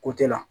Ko te la